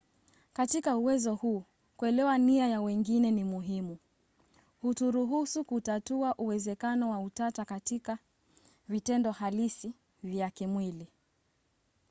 katika uwezo huu kuelewa nia ya wengine ni muhimu. huturuhusu kutatua uwezekano wa utata katika vitendo halisi vya kimwili